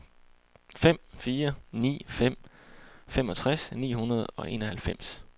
fem fire ni fem femogtres ni hundrede og enoghalvfems